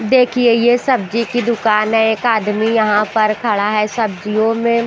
देखिए ये सब्जी की दुकान है एक आदमी यहाँ पर खड़ा है सब्जियों में--